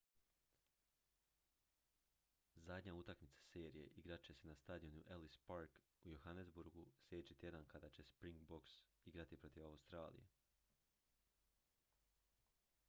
zadnja utakmica serije igrat će se na stadionu ellis park u johannesburgu sljedeći tjedan kada će springboks igrati protiv australije